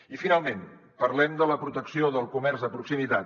i finalment parlem de la protecció del comerç de proximitat